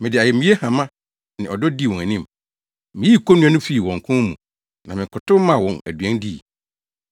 Me de ayamye hama ne ɔdɔ dii wɔn anim; miyii konnua no fii wɔn kɔn mu na mekotow maa wɔn aduan dii.